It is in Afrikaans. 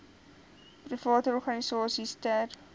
private organisasies ter